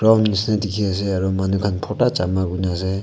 rom misena dekhi ase aru manu khan phota changa kunu ase.